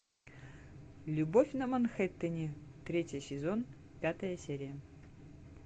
любовь на манхэттене третий сезон пятая серия